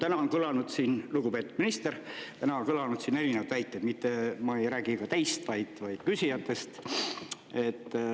Täna on kõlanud siin, lugupeetud minister, täna on kõlanud siin erinevad väited, mitte ma ei räägi ka teist, vaid küsijatest.